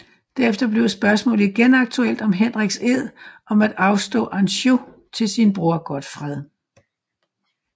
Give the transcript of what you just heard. Derefter blev spørgsmålet igen aktuelt om Henriks ed om at afstå Anjou til sin bror Godfred